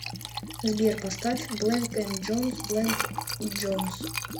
сбер поставь блэнк энд джонс блэнк и джонс